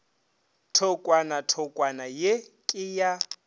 thokwana thokwana ye ke ya